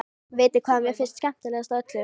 Vitiði hvað mér finnst skemmtilegast af öllu?